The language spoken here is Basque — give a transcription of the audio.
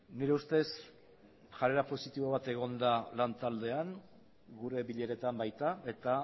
nire ustez jarrera positibo bat egon da lan taldean gure bileretan baita eta